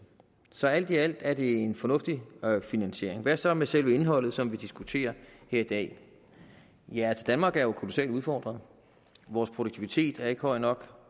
så alt i alt er det en fornuftig finansiering hvad så med selve indholdet som vi diskuterer her i dag ja danmark er jo altså kolossalt udfordret vores produktivitet er ikke høj nok